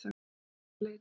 Annars manns er leitað